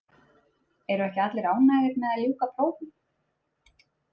Eru ekki allir ánægðir með að ljúka prófum.